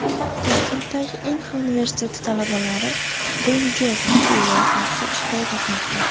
Toshkentdagi Inha universiteti talabalari DreamJob School loyihasida ishtirok etmoqda.